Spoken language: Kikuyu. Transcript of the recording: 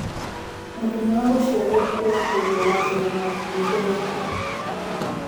mũthenya wa gũcĩarwo Kwa Ngugi wa Thiongo nĩ ũrikũ